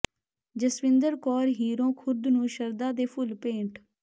ਜਸਵਿੰਦਰ ਕੌਰ ਹੀਰੋਂ ਖੁਰਦ ਨੂੰ ਸ਼ਰਧਾ ਦੇ ਫੁੱਲ ਭੇਟ